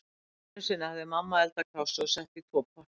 Einu sinni hafði mamma eldað kássu og sett í tvo potta.